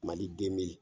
Mali den be yen